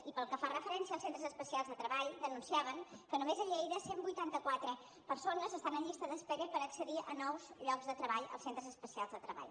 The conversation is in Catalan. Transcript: i pel que fa referència als centres especials de treball denunciaven que només a lleida cent i vuitanta quatre persones estan en llista d’espera per accedir a nous llocs de treball als centres especials de treball